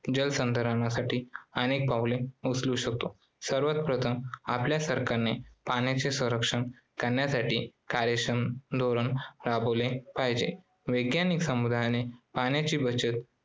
जलसंधारणासाठी अनेक पावले उचलू शकतो. सर्वात प्रथम आपल्या सरकारने पाण्याचे संरक्षण करण्यासाठी कार्यक्षम धोरण राबवले पाहिजे. वैज्ञानिक समुदायाने पाण्याची बचत